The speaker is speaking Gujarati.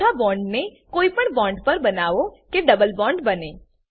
ચોથા બોન્ડને કોઈ પણ બોન્ડ પર બનાવો કે ડબલ બોન્ડ બને